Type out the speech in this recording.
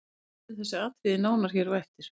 Við ræðum þessi atriði nánar hér á eftir.